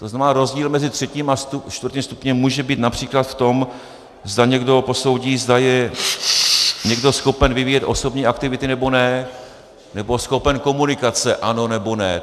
To znamená, rozdíl mezi třetím a čtvrtým stupněm může být například v tom, zda někdo posoudí, zda je někdo schopen vyvíjet osobní aktivity nebo ne, nebo schopen komunikace, ano nebo ne.